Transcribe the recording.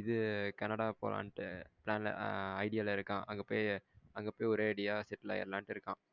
இது கனடா போரனுட்டு ஆ idea ல இருக்கான் அங்க போய் அங்க போய் ஒரே அடியா செட்டில் ஆகிடலண்டு இருக்கான்.